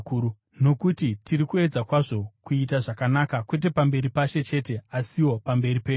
Nokuti tiri kuedza kwazvo kuita zvakanaka, kwete pamberi paShe chete asiwo pamberi penyu.